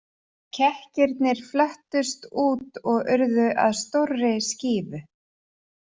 Kekkirnir flöttust út og urðu að stórri skífu.